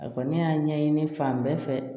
A kɔni y'a ɲɛɲini fan bɛɛ fɛ